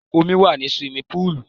Omi wà ní suwimi púùlù.